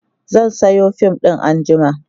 zan Sayo fim ɗin anjima